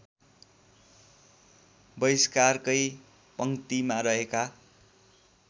बहिष्कारकै पङ्क्तिमा रहेका